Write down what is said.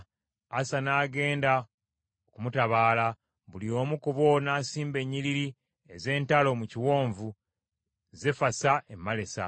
Asa n’agenda okumutabaala, buli omu ku bo n’asimba ennyiriri ez’entalo mu kiwonvu Zefasa e Malesa.